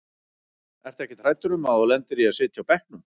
Ertu ekkert hræddur um að þú lendir í að sitja á bekknum?